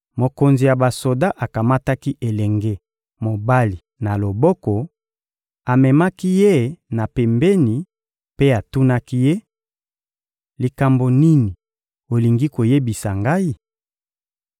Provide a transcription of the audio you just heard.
Mokonzi ya basoda akamataki elenge mobali na loboko, amemaki ye na pembeni mpe atunaki ye: — Likambo nini olingi koyebisa ngai?